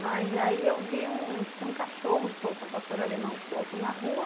Mas aí eu vi, tinha um cachorro solto, um pastor alemão solto na rua,